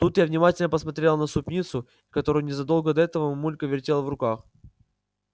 тут я внимательно посмотрела на супницу которую незадолго до этого мамулька вертела в руках